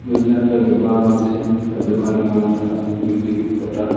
দু চারটা দোকান আছে। তা দোকানের নাম টা মিউজিক খোটা--